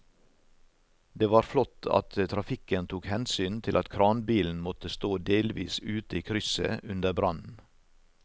Det var flott at trafikken tok hensyn til at kranbilen måtte stå delvis ute i krysset under brannen.